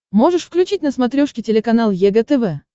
можешь включить на смотрешке телеканал егэ тв